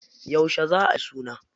Yauce za ayi suna?